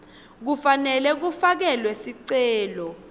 kufanele kufakelwe sicelo